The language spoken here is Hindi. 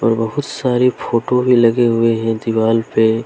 बहुत सारी फोटो भी लगे हुए हैं दीवाल पे।